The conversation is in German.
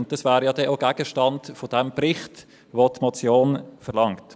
Zudem wären diese ja Gegenstand des Berichts, den die Motion verlangt.